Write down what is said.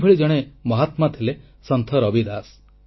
ଏହିଭଳି ଜଣେ ମହାତ୍ମା ଥିଲେ ସନ୍ଥ ରବିଦାସ